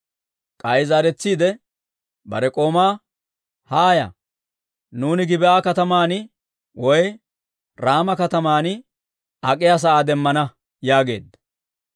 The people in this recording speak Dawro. K'ay zaaretsiide bare k'oomaa, «Haaya, nuuni Gib'aa katamaan woy Raama katamaan ak'iyaa sa'aa demmana» yaageedda.